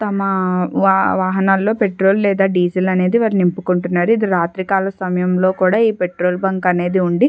తమ వా-వాహనాలలో పెట్రోల్ లేదా డీజిల్ అనేది వాళ్ళు నింపుకుంటున్నారు. ఇది రాత్రి కాల సమయం లో కూడా ఈ పెట్రోల్ బంక్ అనేది ఉండి.